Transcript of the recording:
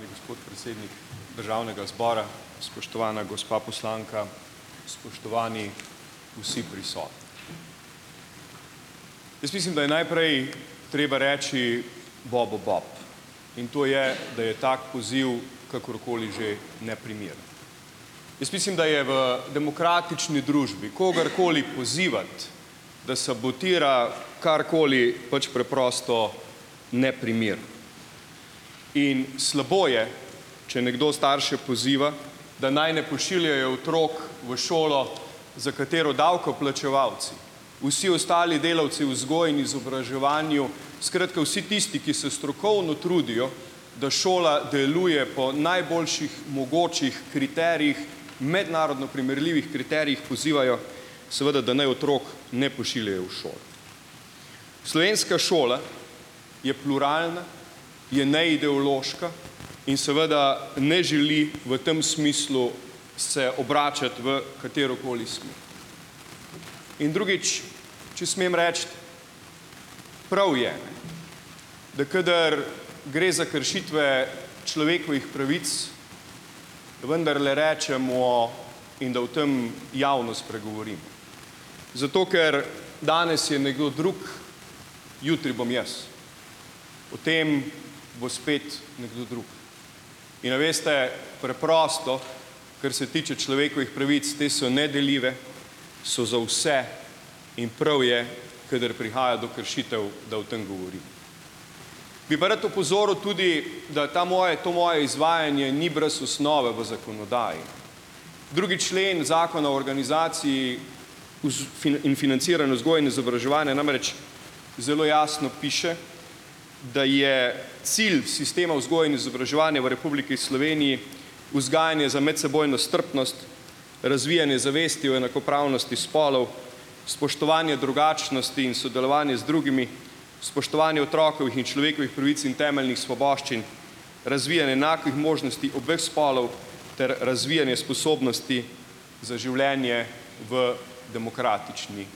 Gospod predsednik Državnega zbora, spoštovana gospa poslanka, spoštovani vsi Jaz mislim, da je naprej treba reči bobu bob in to je, da je tak poziv, kakor koli že, neprimeren. Jaz mislim, da je v demokratični družbi, kogar koli pozivati, da sabotira karkoli, pač preprosto neprimerno in slabo je, če nekdo starše poziva, da naj ne pošiljajo otrok v šolo, za katero davkoplačevalci, vsi ostali delavci v vzgoji in izobraževanju, skratka, vsi tisti, ki se strokovno trudijo, da šola deluje po najboljših mogočih kriterijih, mednarodno primerljivih kriterijih, pozivajo, seveda da naj otrok ne pošiljajo v šolo. Slovenska šola je pluralna, je neideološka in seveda ne želi v tem smislu se obračati v katero koli In drugič, če smem reči, prav je, da kadar gre za kršitve človekovih pravic, vendarle rečemo in da o tam javno spregovorimo, zato ker, danes je nekdo drug, jutri bom jaz, potem bo spet nekdo drug. In a veste, preprosto, kar se tiče človekovih pravic, te so nedeljive, so za vse in prav je, kadar prihaja do kršitev, da o tem govorim. Bi pa rad opozoril tudi, da ta moje to moje izvajanje ni brez osnove v zakonodaji. Drugi člen Zakona o organizaciji voz in financiranju vzgoje in izobraževanja namreč zelo jasno piše, da je cilj sistema vzgoje in izobraževanja v Republiki Sloveniji vzgajanje za medsebojno strpnost, razvijanje zavesti o enakopravnosti spolov, spoštovanje drugačnosti in sodelovanje z drugimi, spoštovanje otrokovih in človekovih pravic in temeljnih svoboščin, razvijanje enakih možnosti obeh spolov ter razvijanje sposobnosti za življenje v demokratični